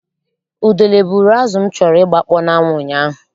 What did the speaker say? Udele buuru azụ m chọrọ ịgbakpọ n'anwụ ụnyaahụ.